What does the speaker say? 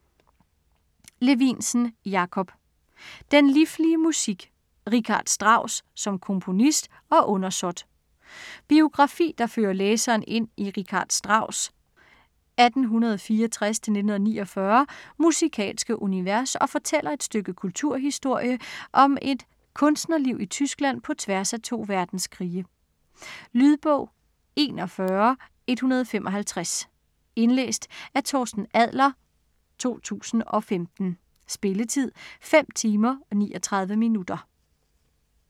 Levinsen, Jakob: Den liflige musik: Richard Strauss som komponist og undersåt Biografi der fører læseren ind i Richard Strauss' (1864-1949) musikalske univers og fortæller et stykke kulturhistorie om et kunstnerliv i Tyskland på tværs af to verdenskrige. Lydbog 41155 Indlæst af Torsten Adler, 2015. Spilletid: 5 timer, 39 minutter.